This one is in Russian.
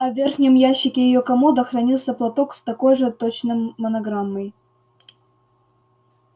а в верхнем ящике её комода хранился платок с такой же точно монограммой